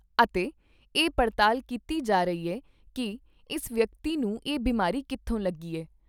ਅਤੇ ਇਹ ਪੜਤਾਲ ਕੀਤੀ ਜਾ ਰਹੀ ਐ ਕਿ ਇਸ ਵਿਅਕਤੀ ਨੂੰ ਇਹ ਬਿਮਾਰੀ ਕਿੱਥੋਂ ਲੱਗੀ ਐ।